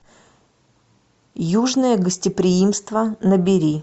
южное гостеприимство набери